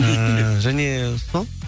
ііі және сол